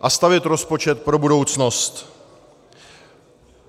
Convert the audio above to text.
a stavět rozpočet pro budoucnost.